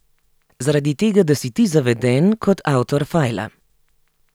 Zaradi tega, da si ti zaveden kot avtor fajla.